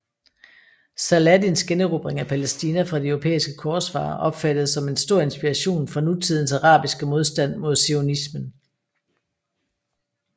Saladins generobring af Palæstina fra de europæiske korsfarere opfattedes som en stor inspiration for nutidens arabiske modstand mod zionismen